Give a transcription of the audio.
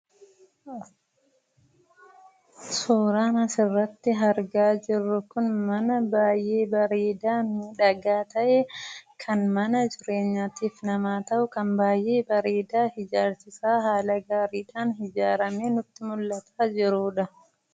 Suuraan as irratti argaa jirru kun mana baay'ee bareedaa fi miidhagaa ta'ee, kan mana jireenyaatiif nama ta'u, kan baay'ee bareeda ijarsii isa haala gaariidhaan ijaramee nuti mul'ataa jirudha.